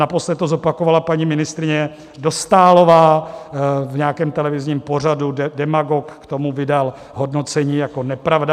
Naposledy to zopakovala paní ministryně Dostálová v nějakém televizním pořadu, Demagog k tomu vydal hodnocení jako nepravda.